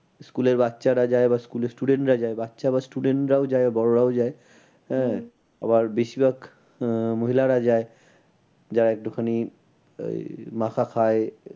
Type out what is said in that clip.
School এর বাচ্চারা যায় বা school এর student রা যায় বাচ্চা বা student রাও যায় বড়ো রাও যায়। আহ আবার বেশির ভাগ আহ মহিলারা যায় যা একটুখানি এই মাখা খায়